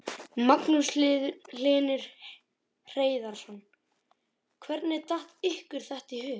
Magnús Hlynur Hreiðarsson: Hvernig datt ykkur þetta í hug?